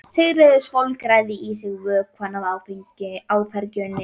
Sigríður svolgraði í sig vökvann af áfergju.